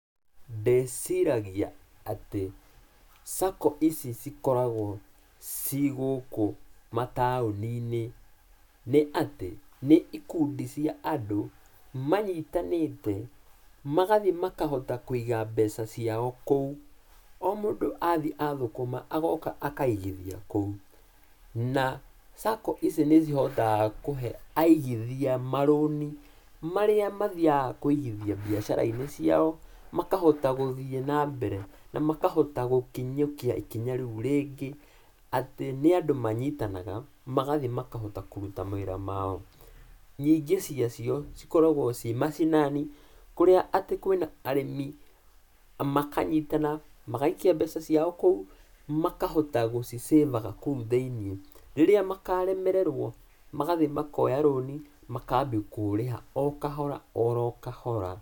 Ndĩciragia atĩ, SACCO ici cikoragwo ciĩ gũkũ mataũni-inĩ nĩ atĩ, nĩ ikundi cia andũ manyitanĩte, magathiĩ makahota kũiga mbeca ciao kũu, o mũndũ athiĩ athũkũma agoka akaigithia kũu, na SACCO ici nĩcihotaga kũhe aigithia marũnĩ, marĩa mathiaga kũigithia mbiacara-inĩ ciao, makahota gũthiĩ na mbere, na makahota gũkinyũkia ikinya rĩu rĩngĩ, atĩ nĩ andũ manyitanaga magathiĩ makahota kũruta mawĩra mao. Nyingĩ ciacio cikoragwo ciĩ macinani, kũrĩa atĩ kwĩna arĩmi, makanyitana, magaikia mbeca ciao kũu, makahota gũci save aga kũu thĩiniĩ, rĩrĩa makaremererwo, magathiĩ makoya loan i makambi kũũrĩha o-kahora oro-kahora.